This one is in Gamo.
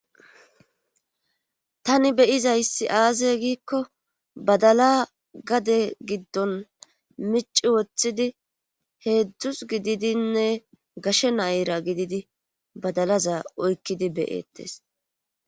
tani beyizayssi aase giikko badala gade giddon mici woththidi heedzdzus gididinne gashe nayra gididi badalaza oykkidi beyettes